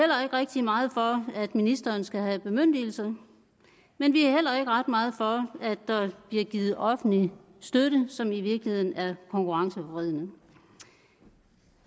rigtig meget for at ministeren skal have bemyndigelse men vi er heller ikke ret meget for at der bliver givet offentlig støtte som i virkeligheden er konkurrenceforvridende